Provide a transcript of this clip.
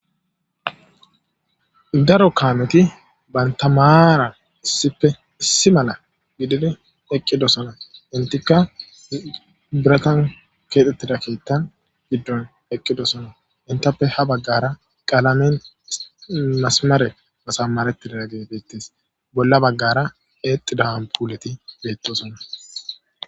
daro kaameti bayntamaara issippe issi mala gididi eqqidosana intika biratan keexxettida keettan giddon eqqidosana intape ha baggara qaalamen masamare masamarettidaa gebettes bolla baggara exidahanpuuleti beettosonna